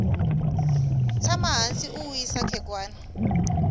tshama hansi u wisa khegwana